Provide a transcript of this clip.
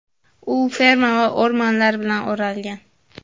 U ferma va o‘rmonlar bilan o‘ralgan.